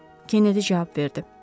Kennedy cavab verdi.